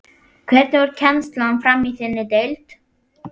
Hvernig fór kennslan fram í þinni deild?